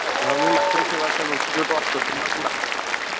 अं, मी Matrusevasangh institute of social work, Nagpur.